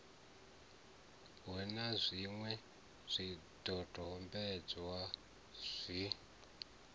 hu na zwiṅwe zwidodombedzwa zwi